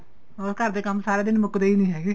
ਹੁਣ ਘਰ ਦੇ ਕੰਮ ਸਾਰਾ ਦਿਨ ਮੁੱਕਦੇ ਈ ਨਹੀਂ